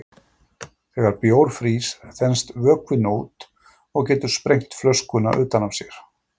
Þegar bjór frýs þenst vökvinn út og getur sprengt flöskuna utan af sér.